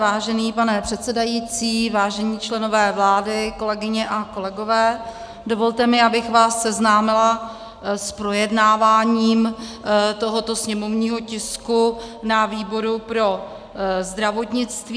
Vážený pane předsedající, vážení členové vlády, kolegyně a kolegové, dovolte mi, abych vás seznámila s projednáváním tohoto sněmovního tisku na výboru pro zdravotnictví.